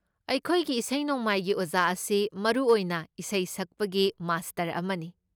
ꯑꯩꯈꯣꯏꯒꯤ ꯏꯁꯩ ꯅꯣꯡꯃꯥꯏꯒꯤ ꯑꯣꯖꯥ ꯑꯁꯤ ꯃꯔꯨ ꯑꯣꯏꯅ ꯏꯁꯩ ꯁꯛꯄꯒꯤ ꯃꯥꯁꯇꯔ ꯑꯃꯅꯤ꯫